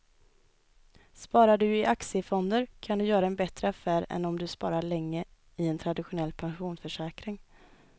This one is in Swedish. Sparar du i aktiefonder kan du göra en bättre affär än om du sparar länge i en traditionell pensionsförsäkring.